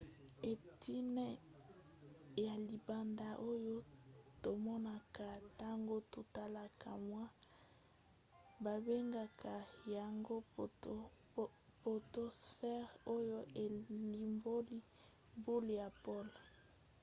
eteni ya libanda oyo tomonaka ntango totalaka moi babengaka yango potosphere oyo elimboli boule ya pole